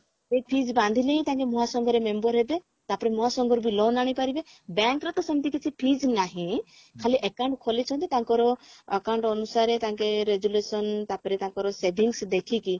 ସେଇ fees ବାନ୍ଧିଲେ ହିଁ ତାଙ୍କେ ମହାସଂଘରେ member ହେବେ ତାପରେ ନୂଆ ସଂଘରୁ ବି loan ଆଣିପାରିବେ bank ର ତ ସେମତି କିଛି fees ନାହିଁ ଖାଲି account ଖୋଲିଛନ୍ତି ତାଙ୍କର account ଅନୁସାରେ ତାଙ୍କେ resolution ତାପରେ ତାଙ୍କର savings ଦେଖିକି